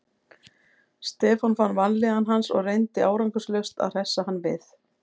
Stefán fann vanlíðan hans og reyndi árangurslaust að hressa hann við.